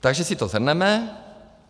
Takže si to shrneme.